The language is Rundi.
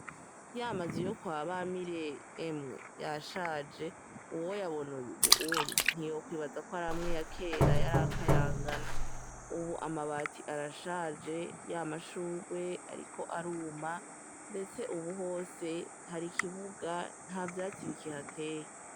Y'amazu yo kwa Bamire, emwe yashaje uwoyabona ubunye ntiyokwibaza ko ar'amwe yakera yar'akayangana, ubu amabati arashaje ya mashurwe ariko aruma, ndetse ubu hose hari ikibuga nta vyatsi bikihateye.